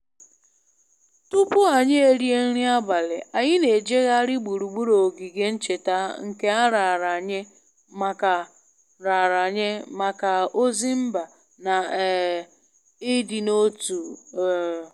Tupu anyị erie nri abalị, anyị na-ejegharị gburugburu ogige ncheta nke a raara nye maka raara nye maka ozi mba na um ịdị n'otu um